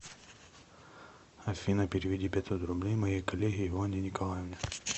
афина переведи пятьсот рублей моей коллеге иванне николаевне